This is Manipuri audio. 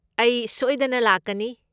ꯑꯩ ꯁꯣꯏꯗꯅ ꯂꯥꯛꯀꯅꯤ꯫